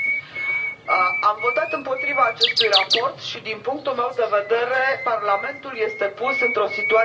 Am votat împotriva acestui raport și, din punctul meu de vedere, Parlamentul este pus într o situație jenantă.